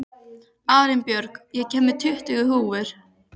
Arinbjörg, ég kom með tuttugu húfur!